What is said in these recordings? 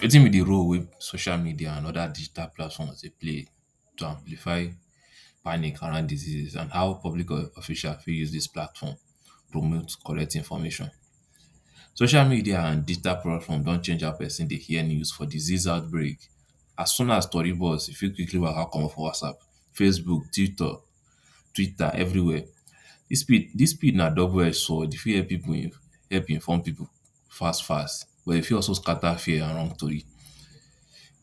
Wetin b d role wey social media and oda digital platforms dey play to amplify panic around diseases and how public officials fit use dis platform promote correct information social media and digital platform don chang how person dey hear news for disease outbreak as soon as tori burst you fit quickly waka commot for whatsapp facebook titor twitter everywhere dis speed dis speed na double edged sword you fit help people help inform people fast fast but e fit also scatter fear among tori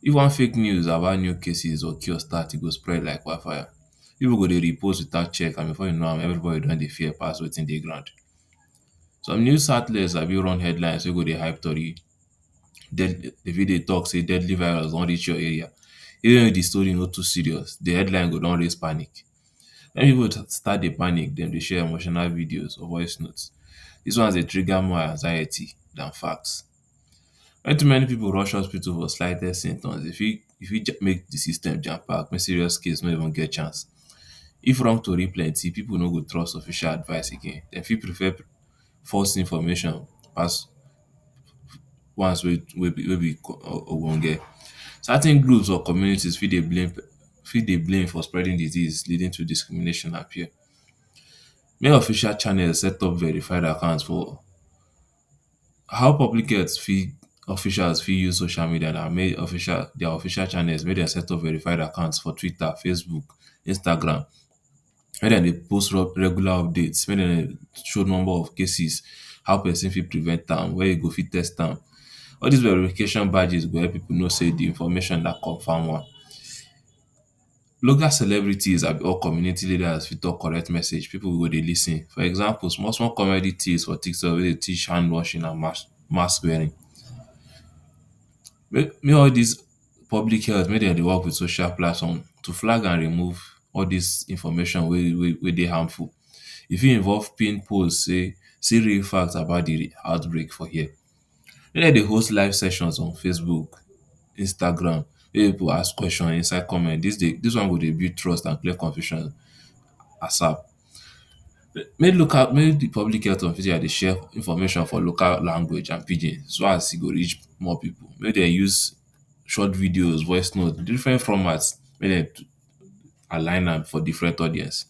if one fake news about new cases or chaos start e go spread like wildfire people go dey repost without check and before u knw am everybody don dey fear pass wetin dey ground some news sabi run headlines wey go dey hype tori dey dey fit dey talk say deadly virus don reach your area even if d story no too serious d headlines go don raise panic everybord start dey panic dem dey share emotional videos or voicenote dis ones dey trigger more anxiety dan facts, wen too many people rush hospital for slightest symptoms e fit, e fit make d system jampack may serious case no get chance if wrong tori plenty pipol no go trust official advice again dem fit prefer false information pass ones wey wey b wey b obonge, certain group or community fit dey blame fit dey blame for spreading disease leading to discrimination appeal may official channels setup verified account for, how public health fit officails fit use social media na may official their official channels may dem setup verified accounts for twitter facebook Instagram may dem dey post regular update may dem dey show number of cases how person fit prevent am where u go fit test am, all dis verification badges go help people know say dis information na comfam one, local celebrities or community leaders fit talk correct message people go dey lis ten for example small small comedy for tiktok wey dey teach hand washing and mas mass wearing may all dis public health may dem dey work with social platform to flag and remove all dis information wey dey wey wey dey harmful e fit involve pin post say see real facts about d outbreak for here make dem dey host live sections on facebook Instagram make people ask question inside comment dis dey dis one go dey build trust and clear confusion, make local may de public health official dey share information for local language and pidgin so as e go reach more people make dem use short videos voicenote different formats may dem align am for different audience,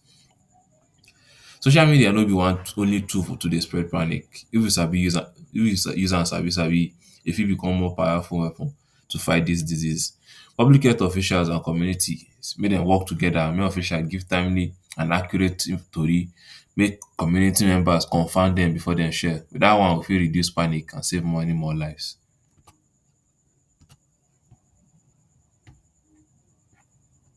social media no be one only tool to dey spread panic if u sabi use am if you use am sabi sabi e fit become more powerful weapon to fight dis disease, public health officails and community may them work together make officails give timely and accurate tori make community members confirm dem before dem share dat one go fit reduce panic and save money more lives.